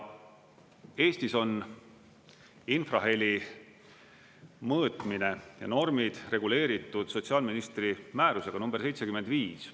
Eestis on infraheli mõõtmine ja normid reguleeritud sotsiaalministri määrusega nr 75.